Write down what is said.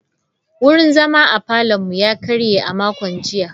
Wurin zama a parlourn mu ya karye a makon jiya.